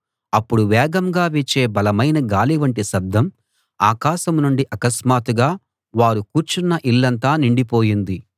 అప్పుడు వేగంగా వీచే బలమైన గాలి వంటి శబ్దం ఆకాశం నుండి అకస్మాత్తుగా వారు కూర్చున్న ఇల్లంతా నిండిపోయింది